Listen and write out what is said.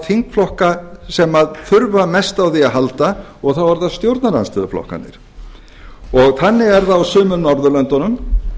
þingflokka sem þurfa mest á því að halda og þá eru það stjórnarandstöðuflokkarnir þannig er það á sumum norðurlöndunum